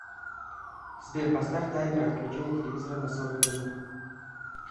сбер поставь таймер отключения телевизора на сорок минут